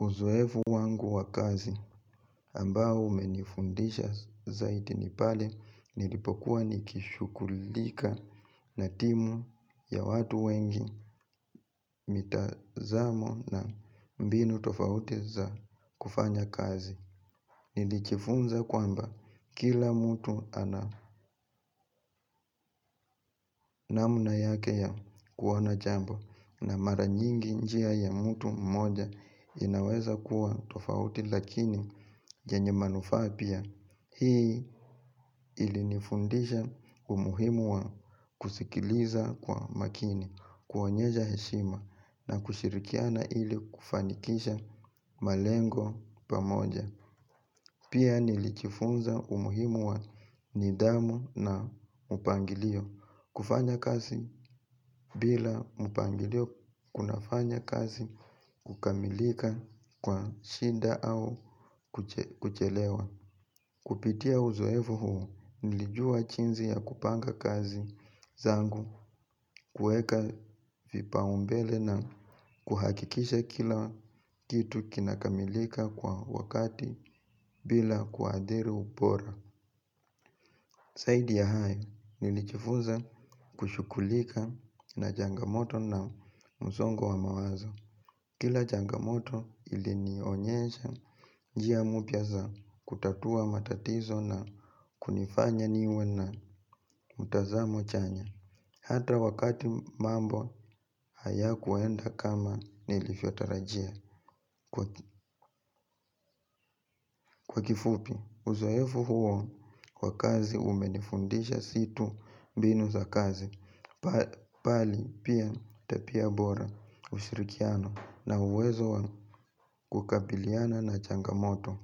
Uzoefu wangu wa kazi ambao umenifundisha zaidi ni pale nilipokuwa nikishughulika na timu ya watu wengi, mitazamo na mbinu tofauti za kufanya kazi. Nilijifunza kwamba kila mtu ana namna yake ya kuona jambo. Na mara nyingi njia ya mtu mmoja inaweza kuwa tofauti, lakini yenye manufaa pia. Hii ilinifundisha umuhimu wa kusikiliza kwa makini, kuonyesha heshima na kushirikiana ili kufanikisha malengo pamoja. Pia nilijifunza umuhimu wa nidhamu na mpangilio. Kufanya kazi bila mpangilio kunafanya kazi kukamilika kwa shida au kuchelewa. Kupitia uzoefu huu nilijua jinsi ya kupanga kazi zangu, kuweka vipaumbele na kuhakikisha kila kitu kinakamilika kwa wakati bila kuadhiri ubora. Zaidi ya hayo nilijifunza kushughulika na changa moto na msongo wa mawazo. Kila changamoto ilinionyesha njia mpya za kutatua matatizo na kunifanya niwe na mtazamo chanya. Hata wakati mambo haya kuenda kama nilivyotarajia. Kwa kifupi. Uzoefu huo wa kazi umenifundisha si tu mbinu za kazi. Bali pia tabia bora, ushirikiano na uwezo wa kukabiliana na changamoto.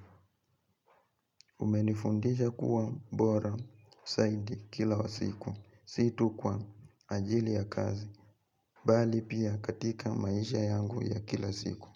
Umenifundisha kuwa bora zaidi kila siku. Si tu kwa ajili ya kazi. Bali pia katika maisha yangu ya kila siku.